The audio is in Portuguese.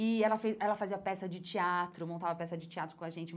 e ela fez ela fazia peça de teatro, montava peça de teatro com a gente.